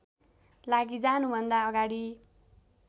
लागि जानुभन्दा अगाडि